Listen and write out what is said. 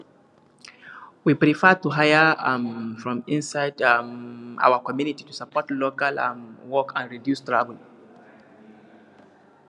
we prefer to hire um from inside um our community to support local um work and reduce travel